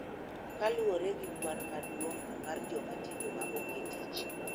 Kaluwore gi kwan maduong� mar joma tindo ma onge tich.